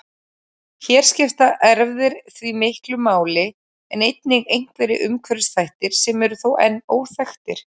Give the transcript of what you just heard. Hér skipta erfðir því miklu máli en einnig einhverjir umhverfisþættir sem eru þó enn óþekktir.